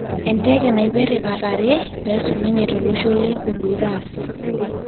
Endeke naipere katare pesulunye tolosho le Honduras.